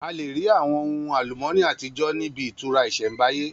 A lè rí àwọn ohun àlùmọ́nì àtijọ́ ní ibi ìtura ìsẹ̀mbáyé